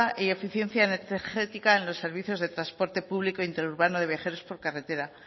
y eficiencia energética en los servicios de transporte público interurbano de viajeros por carretera